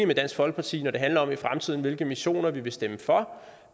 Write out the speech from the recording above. med dansk folkeparti når det handler om hvilke missioner vi vil stemme for